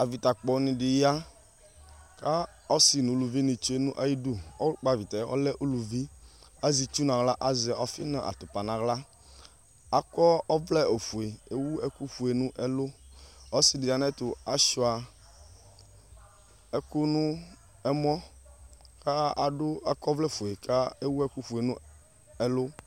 Evita kpɔ ni di ya ɔsi nu uluvi di ya nu ayi du ɔlu kpɔ avitɛ ɔlɛ uluvi azi itchu n'aɣla azɛ ɔfi nu atupa n'aɣla akɔ ɔvlɛ ofue ewu ɛku fue n'ɛlu ɔsi di ya nu syɛtu achua ɛku nu ɛmɔ k'akɔ ɔvlɛ fue ku ewu ɛku fue nu ɛlu